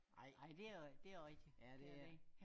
Ej ej det også rigtig det også rigtig det er det ikke